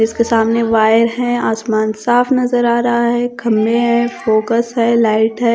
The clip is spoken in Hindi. इसके सामने वायर है। आसमान साफ नजर आ रहा है। खंबे है फोकस है लाइट है।